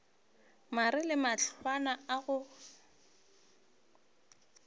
mare le mahlwana a go